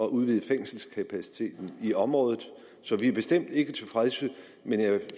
at udvide fængselskapaciteten i området så vi er bestemt ikke tilfredse men jeg